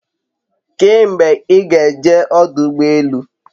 Kee mgbe i ga eje odu ugbo elu?